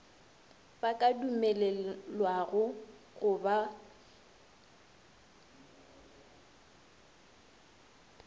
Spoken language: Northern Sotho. ba ka dumelelwago go ba